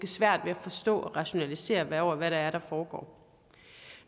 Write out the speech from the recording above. svært ved at forstå og rationalisere over hvad det er der foregår